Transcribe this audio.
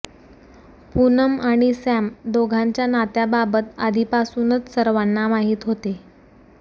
पूनम आणि सॅम दोघांच्या नात्याबाबत आधीपासूनच सर्वांना माहिती होती